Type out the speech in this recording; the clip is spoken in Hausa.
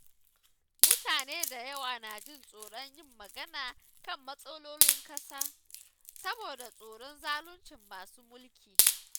Mutane da yawa na jin tsoron yin magana kan matsalolin ƙasa, saboda tsoron zaluncin masu mulki.